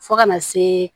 Fo kana se